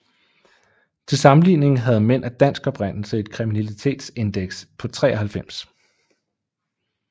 Til sammenligning havde mænd af dansk oprindelse et kriminalitetsindeks på 93